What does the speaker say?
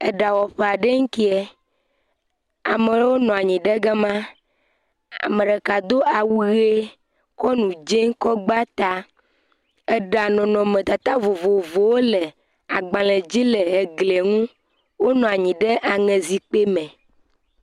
Eɖawɔƒe nlie, ame ɖewo nɔ anyi ɖe gama, ame ɖeka do awu ʋe kɔ nu dzee kɔ gba ta, eɖa nɔnɔmetata vovovowo le agbalẽ dzi le glie ŋu, wonɔ anyi ɖe aŋe zikpui me.